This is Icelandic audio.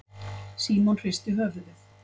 Símon hristi höfuðið.